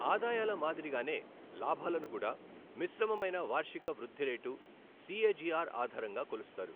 ఆదాయాల మాదిరిగానే లాభాలను కూడా మిశ్రమమైన వార్షిక వృద్ధి రేటు, సిఎజిఆర్ ఆధారంగా కొలుస్తారు.